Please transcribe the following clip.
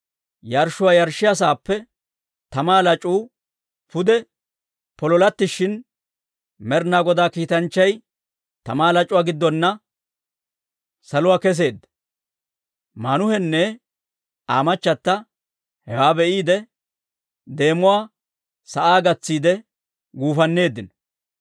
Yarshshuwaa yarshshiyaa saappe tamaa lac'uu pude pololattishin, Med'inaa Godaa kiitanchchay tamaa lac'uwaa gidduwaanna saluwaa kesseedda. Maanuhenne Aa machata hewaa be'iide, deemuwaa sa'aa gatsiide guufanneeddino.